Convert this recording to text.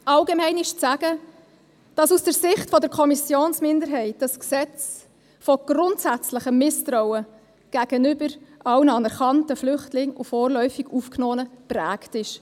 Allgemein ist zu sagen, dass dieses Gesetz aus der Sicht der Kommissionsminderheit von grundsätzlichem Misstrauen gegenüber allen anerkannten Flüchtlingen und vorläufig Aufgenommenen geprägt ist.